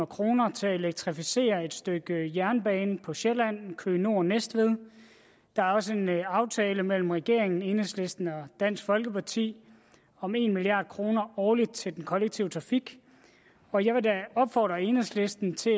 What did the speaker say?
kroner til at elektrificere et stykke jernbane på sjælland køge nord næstved der er også en aftale mellem regeringen enhedslisten og dansk folkeparti om en milliard kroner årligt til den kollektive trafik og jeg vil da opfordre enhedslisten til